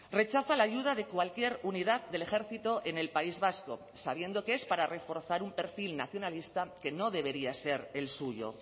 rechaza la ayuda de cualquier unidad del ejército en el país vasco sabiendo que es para reforzar un perfil nacionalista que no debería ser el suyo